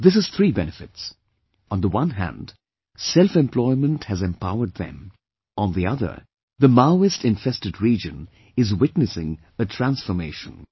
This has three benefits on the one hand selfemployment has empowered them; on the other, the Maoist infested region is witnessing a transformation